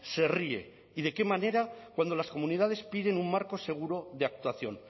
se ríe y de qué manera cuando las comunidades piden un marco seguro de actuación